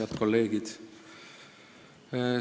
Head kolleegid!